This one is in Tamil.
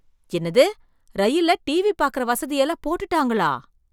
என்னது, ரயில்ல டிவி பார்க்கற வசதி எல்லாம் போட்டுட்டாங்களா?